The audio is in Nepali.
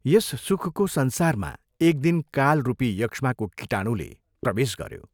यस सुखको संसारमा एक दिन काल रूपी यक्ष्माको कीटाणुले प्रवेश गऱ्यो।